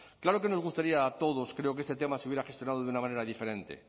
claro que nos gustaría a todos creo que este tema se hubiera gestionado de una manera diferente